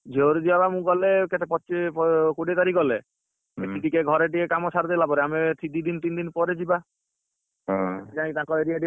ଝିଅ ଘରକୁ ଯିବା ବା ମୁ ଗଲେ କେତେ ପଚିଶି କୋଡିଏ ତାରିଖ ଗଲେ ସେଇଠି ଟିକେ ଘରେ ଟିକେ କାମ ସାରିଦେଲାପରେ ଆମେ ସେଇ ଦି ଦିନ ତିନ ଦିନ ପରେ ଯିବା ଯାଇକି ତାଙ୍କ area ଟିକେ